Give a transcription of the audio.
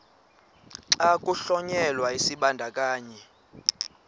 xa kuhlonyelwa isibandakanyi